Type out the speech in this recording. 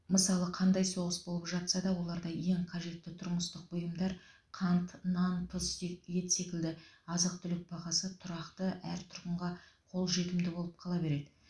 мысалы қандай соғыс болып жатса да оларда ең қажетті тұрмыстық бұйымдар қант нан тұз ет секілді азық түлік бағасы тұрақты әр тұрғынға қол жетімді болып қала береді